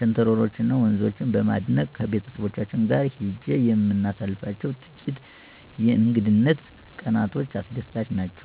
ሸንተረሮች እና ወንዞችን በማድነቅ ከቤተሰቦቼ ጋር ሄጄ የምናሳልፋቸው ጥቂት የእንግድነት ቀናቶች አስደሳች ናቸው።